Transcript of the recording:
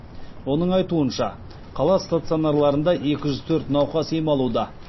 оның айтуынша қала стационарларында екі жүз төрт науқас ем алуда